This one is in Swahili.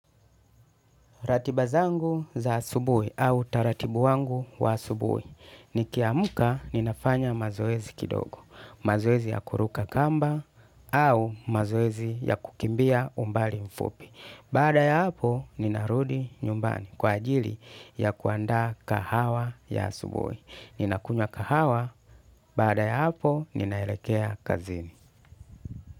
Ratiba zangu za asubuhi au utaratibu wangu wa asubuhi. Nikiamka ninafanya mazoezi kidogo. Mazoezi ya kuruka kamba au mazoezi ya kukimbia umbali mfupi. Baada ya hapo ninarudi nyumbani kwa ajili ya kuandaa kahawa ya asubuhi. Ninakunywa kahawa, baada ya hapo ninaelekea kazini.